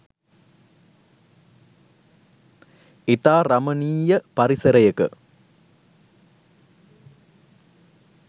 ඉතා රමණීය පරිසරයක